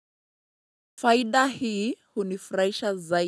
Faiida hii hunifraisha zai.